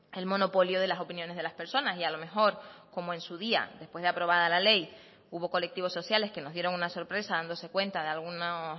el monopolio de las opiniones de las personas y a lo mejor como en su día después de aprobada la ley hubo colectivos sociales que nos dieron una sorpresa dándose cuenta de algunos